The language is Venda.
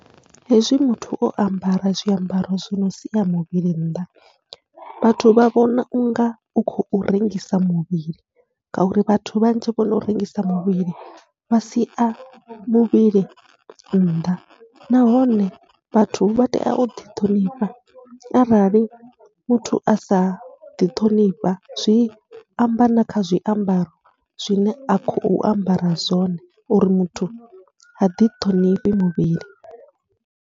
Hezwi muthu o ambara zwiambaro zwino sia muvhili nnḓa, vhathu vha vhona unga u khou rengisa muvhili ngauri vhathu vhanzhi vhono rengisa muvhili vha sia muvhili nnḓa, nahone vhathu vha tea uḓi ṱhonifha arali muthu asa ḓiṱhonifha zwi amba na kha zwiambaro zwine a khou ambara zwone uri muthu ha ḓithonifhi muvhili.